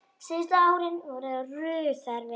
Síðustu árin voru Ruth erfið.